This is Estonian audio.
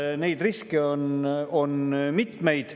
Nii et neid riske on mitmeid.